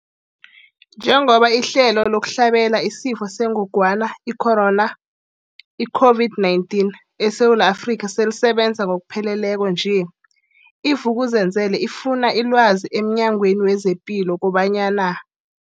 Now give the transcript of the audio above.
Njengoba ihlelo lokuhlabela isiFo sengogwana i-Corona, i-COVID-19, eSewula Afrika selisebenza ngokupheleleko nje, i-Vuk'uzenzele ifune ilwazi emNyangweni wezePilo kobanyana.